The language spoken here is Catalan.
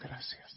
gràcies